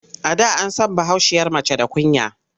A da an san bahaushiyar mace da kunya.